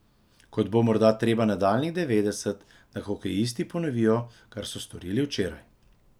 Kot bo morda treba nadaljnjih devetdeset, da hokejisti ponovijo, kar so storili včeraj.